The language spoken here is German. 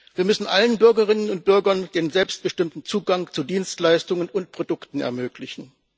Wir müssen allen Bürgerinnen und Bürgern den selbstbestimmten Zugang zu Dienstleistungen und Produkten ermöglichen.